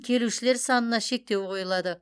келушілер санына шектеу қойылады